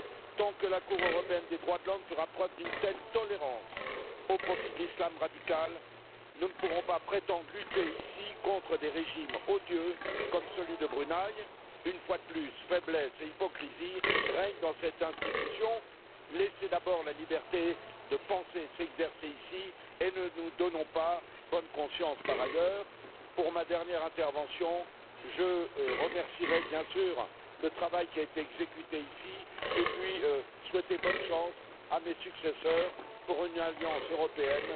Tant que la Cour européenne des droits de l'homme fera preuve d'une telle tolérance au profit de l'Islam radical, nous ne pourrons pas prétendre lutter ici contre des régimes odieux comme celui du Brunei. Une fois de plus, faiblesse et hypocrisie règnent dans cette institution. Laissez d'abord la liberté de penser s'exercer ici et ne nous donnons pas bonne conscience par ailleurs. Pour ma dernière intervention, je remercierai bien sûr tous ceux qui ont contribué au travail qui a été exécuté ici et je voudrais souhaiter bonne chance à mes successeurs qui œuvreront pour une alliance européenne